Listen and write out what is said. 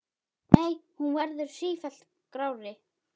Nei, hún verður sífellt grárri.